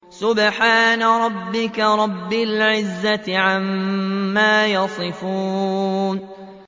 سُبْحَانَ رَبِّكَ رَبِّ الْعِزَّةِ عَمَّا يَصِفُونَ